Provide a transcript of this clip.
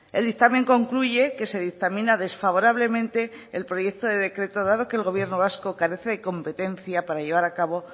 el dictamen concluye que se dictamina desfavorablemente el proyecto de decreto dado que el gobierno vasco carece de competencia para llevar a cabo